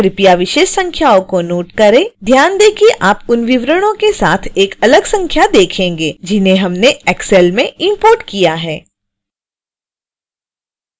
कृपया विशेष संख्याओं को नोट करें